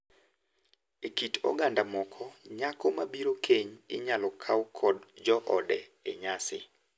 E kit oganda moko, nyako mabiro keny inyalo kow kod joode e nyasi.